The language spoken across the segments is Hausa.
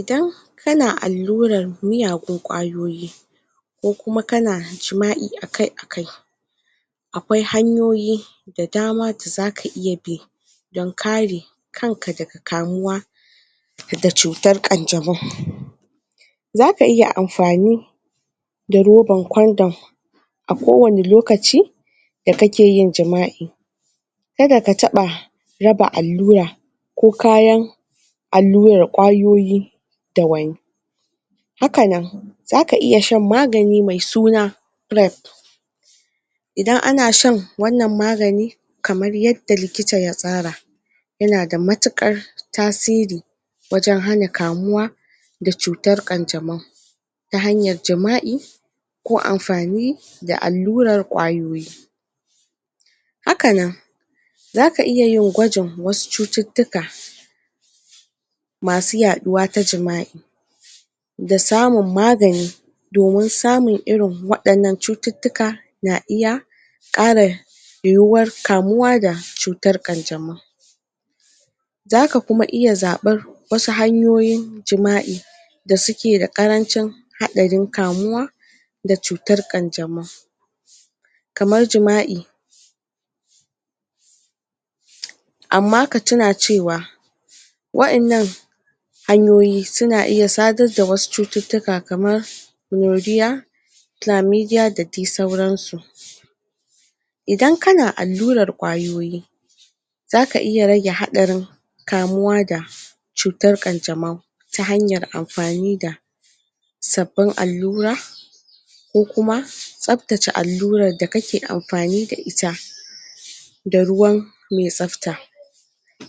idan kana allurar miyagun ƙwayoyi ko kuma kana jima'i akai akai aƙwai hanyoyi da dama da zaka iya bi don kare kanka daga kamuwa daga cutar ƙan jamau zaka iya amfani da rubar condom a kowanne lokaci da kake yin jima'i kada kaɓa raba allura ko kayan allurar ƙwayoyi da wani hakanan zaka iya shan magani mai suna rep idan ana shan wannan magani kamar yadda likita ya tsara yana da matuƙar tasiri wajan hana kamuwa da cutar ƙan jamau ta hanyar jima'i ko amfani da allurar ƙwayoyi hakanan zaka iya yin gwajin wasu cututtuka masu ya ɗuwa ta jima'i da samun magani domin samun irin waɗannan cututtuka na iya ƙara yuwuwar kamuwa da cutar ƙan jamau zaka kuma iya zaɓar wasu hanyoyin jima'i da suke da ƙarancin haɗarin kamuwa da cutar ƙan jamau kamar jima'i amma ka tuna cewa wa innan hanyoyi suna iya sadar da wasu cututtuka kamar gloria flamidia da dai sauransu idan kana allurar ƙwayoyi zaka iya rage haɗarin kamuwa da cutar ƙan jamau ta hanyar amfani da sabbin allura ko kuma tsaftace allurar da kake amfani da ita da ruwan me tsafta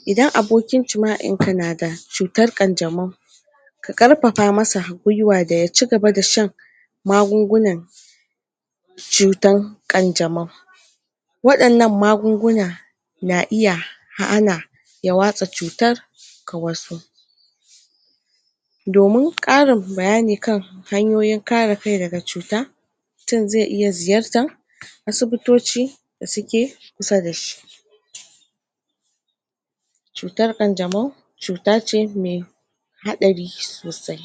idan abokin jima'inka nada cutar ƙan jamau ka ƙarfafa masa gwiwa da ya cigaba da shan magugunan cutan ƙan jamau waɗannan magunguna na iya hana ya watsa cutar ga wasu domin ƙarin bayani kan hanyoyin kare kai daga cuta mutun zai iya ziyartar asibitoci da suke kusa dashi cutar ƙan jamau cutace mai haɗari sosai